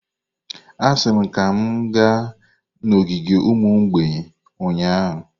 Asị m ka m gaa n'ogige ụmụ mgbei ụnyahụ!